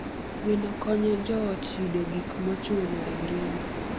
Gweno konyo joot yudo gik mochuno e ngima.